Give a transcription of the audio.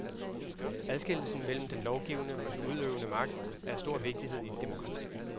Adskillelsen mellem den lovgivende og den udøvende magt er af stor vigtighed i et demokrati.